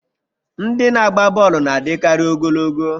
Ndị na-agba bọọlụ na-adịkarị ogologo